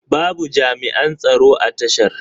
Babu jami'an tsaro a tashar.